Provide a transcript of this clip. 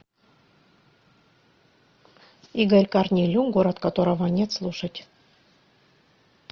игорь корнелюк город которого нет слушать